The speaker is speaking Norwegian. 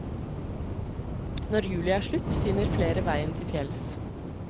Når juli er slutt, finner flere veien til fjells.